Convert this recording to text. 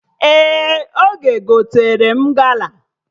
Ee, Oge gotere m gala